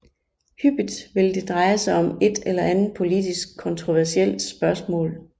Hyppigt vil det dreje sig om et eller andet politisk kontroversielt spørgsmål